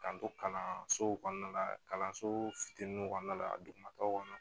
K'an to kalansow kɔnɔna la kalanso fitininw kɔnɔna la dugumataw kɔnɔ